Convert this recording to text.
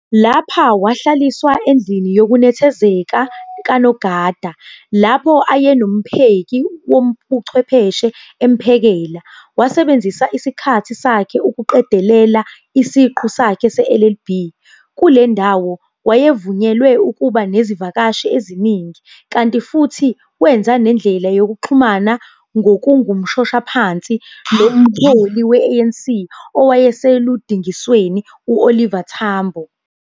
Lapha wahlaliswa endlini yokunethezeka kanogada, lapho ayenompheki wobuchwephese emphekela, wasebenzisa isikhathi sakhe ukuqedelela isiqu sakhe se-LLB. Kule ndawo, wayevunyelwe ukuba nezivakashi eziningi kanti futhi wenza nendlela yokuxhumana ngokungumshoshaphansi, nomholi we-ANC owayeseludingisweni u-Oliver Tambo.